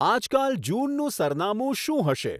આજકાલ જૂનનું સરનામું શું હશે